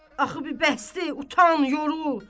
Axı bir bəsdir, utan, yorul.